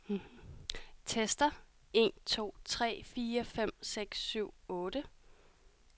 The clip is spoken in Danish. Tester en to tre fire fem seks syv otte.